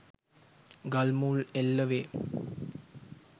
ගල් මුල් එල්ල වේ